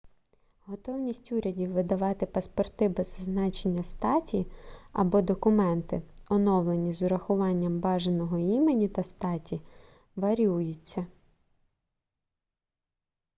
готовність урядів видавати паспорти без зазначення статі x або документи оновлені з урахуванням бажаного імені та статі вар'юється